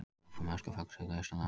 Áfram öskufall suðaustanlands